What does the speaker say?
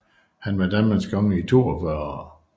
Han var Danmarks konge i 42 år